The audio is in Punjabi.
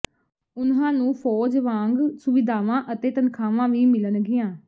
ਉਨ੍ਹਾਂ ਨੂੰ ਫੌਜ ਵਾਂਗ ਸੁਵਿਧਾਵਾਂ ਅਤੇ ਤਨਖਾਹਾਂ ਵੀ ਮਿਲਣਗੀਆਂ